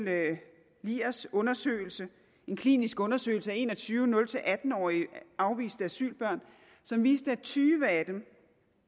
liers undersøgelse en klinisk undersøgelse af en og tyve nul atten årige afviste asylbørn som viste at tyve af dem